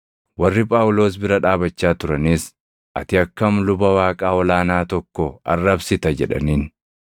Warri Phaawulos bira dhaabachaa turanis; “Ati akkam luba Waaqaa ol aanaa tokko arrabsita?” jedhaniin.